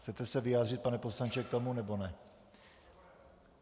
Chcete se vyjádřit, pane poslanče, k tomu, nebo ne?